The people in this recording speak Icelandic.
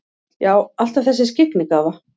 Já, alltaf þessi skyggnigáfa.